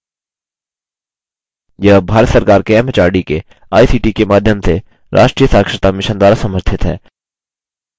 यह भारत सरकार के एमएचआरडी के आईसीटी के माध्यम से राष्ट्रीय साक्षरता mission द्वारा समर्थित है